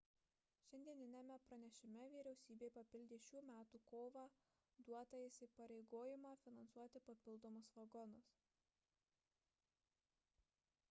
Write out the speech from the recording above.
šiandieniniame pranešime vyriausybė papildė šių metų kovą duotą įsipareigojimą finansuoti papildomus vagonus